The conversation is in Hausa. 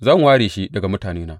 Zan ware shi daga mutanena.